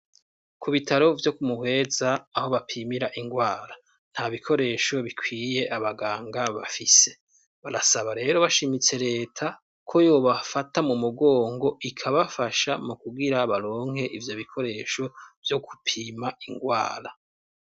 Ku bitaro vyo kumuhweza aho bapimira ingwara nta bikoresho bikwiye abaganga bafise barasaba rero bashimitse leta ko yobafata mu mugongo ikabafasha mu kugira baronke ivyo bikoresho vyo kupima ingwara.